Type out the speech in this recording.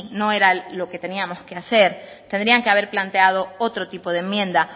no era lo que teníamos que hacer tendrían que haber planteado otro tipo de enmienda